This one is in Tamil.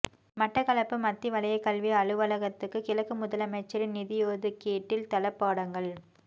மட்டக்களப்பு மத்தி வலயக் கல்வி அலுவலகத்துக்கு கிழக்கு முதலமைச்சரின் நிதியொதுக்கீட்டில் தளபாடங்கள்